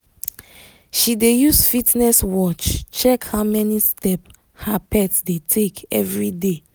she dey use fitness watch check how many step her pet dey take everyday.